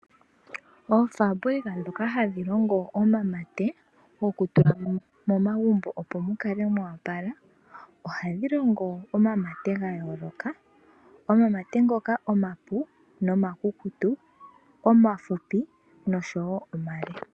Oofambulika dhoka hadhi longo omamate gokutula momagumbo opo mukale moopala ohadhi longo omamate gayooloka omamate ngoka omapu nomakukutu omafupi nosho woo omale.